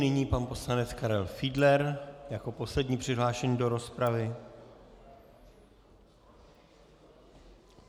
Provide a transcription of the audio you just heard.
Nyní pan poslanec Karel Fiedler jako poslední přihlášený do rozpravy.